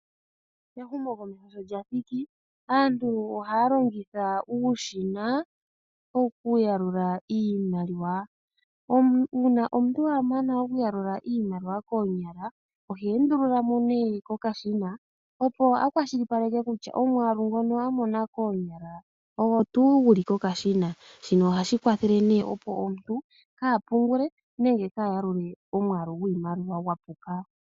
Ehumokomeho sho lyathiki, aantu ohaya longitha uushina wokuyalula iimaliwa . Uuna omuntu wamana okuyalula iimaliwa koonyala , ohe endululamo kokashina opo akwashilipaleke kutya omwaalu ngono amona koonyala ogwo tuu guli kokashina . Shino ohashi kwathele opo omuntu kaapungule nenge kaayalule omwaalu gwiimaliwa gwapuka.